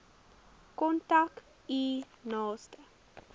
kontak u naaste